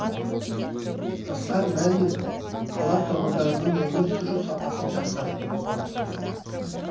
асқар мамин қала тұрғындарының өмір сүру сапасын жақсартуды тапсырды